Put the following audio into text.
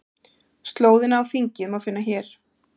Slóðina á þingið má finna hér